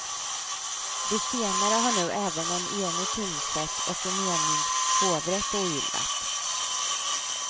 Det senare har nu även en enig tingsrätt och en enig hovrätt ogillat.